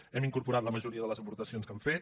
hi hem incorporat la majoria de les aportacions que han fet